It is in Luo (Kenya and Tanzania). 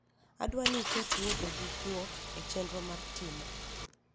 adwani iket wuotho gi guok e chenro mar mar timo